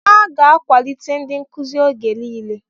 A ga-akwalite ndị nkuzi oge niile.